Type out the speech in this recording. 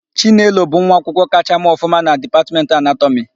Chinelo bụ nwaakwụkwọ kachaa mee ọfụma na Dipatmentị Anatọmị.